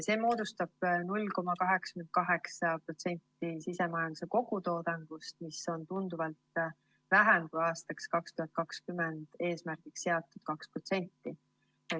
See moodustab 0,88% sisemajanduse kogutoodangust, mida on siiski tunduvalt vähem kui aastaks 2020 eesmärgiks seatud 2%.